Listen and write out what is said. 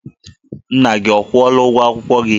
Nna gị ọ kwụọla ụgwọ ụlọ akwụkwọ gị?